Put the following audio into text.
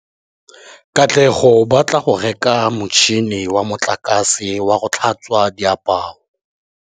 Katlego o batla go reka motšhine wa motlakase wa go tlhatswa diaparo.